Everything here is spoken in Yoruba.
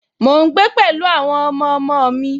Mò ń gbé pẹ̀lú àwọn ọmọọmọ mi